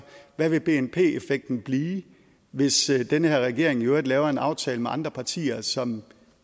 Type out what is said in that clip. hvad vil bnp effekten blive hvis den her regering i øvrigt laver en aftale med andre partier som